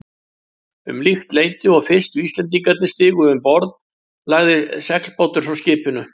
Um líkt leyti og fyrstu Íslendingarnir stigu um borð, lagði seglbátur frá skipinu.